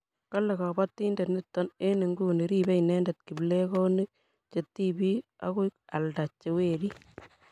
kale kabotindet nito eng' nguni ribei inendet kiplekonik che tibik aku alda che werik